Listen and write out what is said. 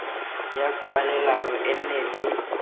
ya kwalelano e nne le